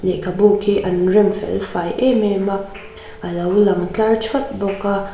lehkhabu khi an rem fel fai em em a a lo lang tlar thawt bawk a.